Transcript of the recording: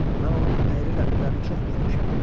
Mən onun əyri ləpirlərini çox görmüşəm.